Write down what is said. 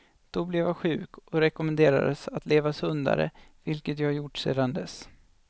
Då blev jag sjuk och rekommenderades att leva sundare vilket jag gjort sedan dess.